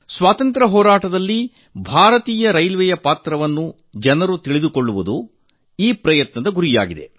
ಸ್ವಾತಂತ್ರ್ಯ ಹೋರಾಟದಲ್ಲಿ ಭಾರತೀಯ ರೈಲ್ವೇಯ ಪಾತ್ರವನ್ನು ಜನರಿಗೆ ತಿಳಿಸಿಕೊಡುವುದು ಈ ಪ್ರಯತ್ನದ ಉದ್ದೇಶವಾಗಿದೆ